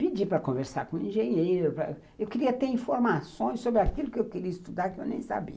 Pedi para conversar com o engenheiro, eu queria ter informações sobre aquilo que eu queria estudar que eu nem sabia.